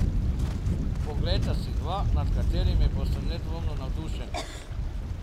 Poglejte si dva, nad katerima boste nedvomno navdušeni.